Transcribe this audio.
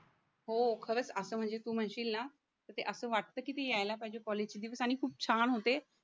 हो खरंच असं म्हणजे तू म्हणशील ना ते असं वाटतं की ते यायला पाहिजे कॉलेजचे दिवस आणि खूप छान होते